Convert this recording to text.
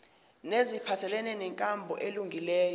neziphathelene nenkambo elungileyo